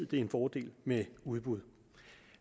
det er en fordel med udbud